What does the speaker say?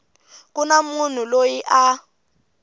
ku na munhu loyi a